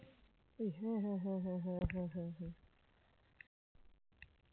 এই হ্যাঁ হ্যাঁ হ্যাঁ হ্যাঁ হ্যাঁ হ্যাঁ হ্যাঁ হ্যাঁ